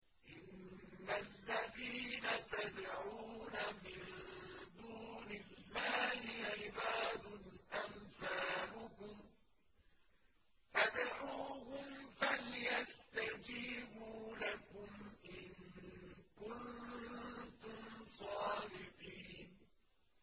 إِنَّ الَّذِينَ تَدْعُونَ مِن دُونِ اللَّهِ عِبَادٌ أَمْثَالُكُمْ ۖ فَادْعُوهُمْ فَلْيَسْتَجِيبُوا لَكُمْ إِن كُنتُمْ صَادِقِينَ